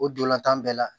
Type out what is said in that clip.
O dolantan bɛɛ la